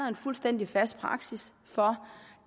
en fuldstændig fast praksis for